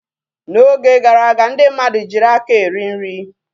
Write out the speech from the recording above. N'oge gara aga ndị mmadụ jiiri aka eri nri.